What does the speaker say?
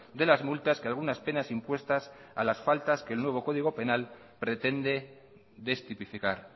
de las multas que algunas penas impuestas a las faltas que el nuevo código penal pretende destipificar